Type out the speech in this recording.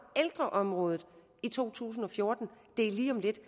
ældreområdet i to tusind og fjorten og det er lige om lidt